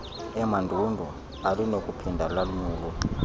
emandundu alinakuphinda lonyulwe